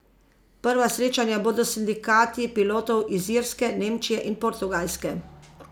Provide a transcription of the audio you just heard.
Prva srečanja bodo s sindikati pilotov iz Irske, Nemčije in Portugalske.